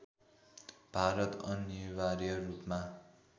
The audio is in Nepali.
भारत अनिवार्य रूपमा